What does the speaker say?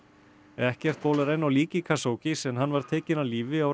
ekkert bólar enn á líki Khashoggis en hann var tekinn af lífi á